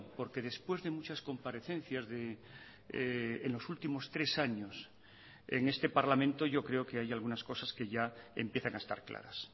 porque después de muchas comparecencias en los últimos tres años en este parlamento yo creo que hay algunas cosas que ya empiezan a estar claras